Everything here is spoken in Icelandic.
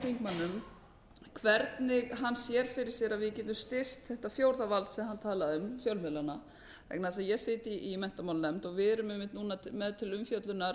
þingmönnum hvernig hann sér fyrir sér að við getum styrkt þetta stjórnvald sem hann talar um fjölmiðlana vegna þess að ég sit í menntamálanefnd og við erum einmitt núna með til umfjöllunar